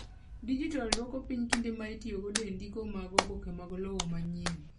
Dijital dwoko piny kinde ma itiyogo e ndiko mag oboke mag lowo manyien.